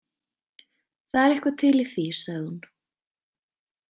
Það er eitthvað til í því, sagði hún.